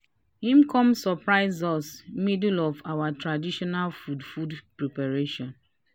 him come surprise us middle of our traditional food food preparations."